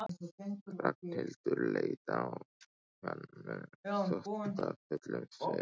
Ragnhildur leit á hann með þóttafullum svip.